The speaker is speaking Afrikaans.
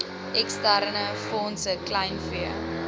eksterne fondse kleinvee